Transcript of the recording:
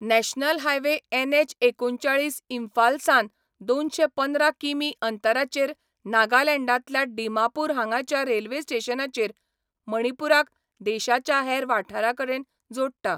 National highway NH एकुणचाळीस इम्फालसावन दोनशें पंदरा किमी अंतराचेर नागालँडांतल्या डिमापूर हांगाच्या रेल्वे स्टेशनाचेर मणिपूराक देशाच्या हेर वाठारांकडेन जोडटा.